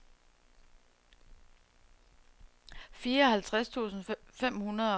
fireoghalvtreds tusind fem hundrede og treoghalvtreds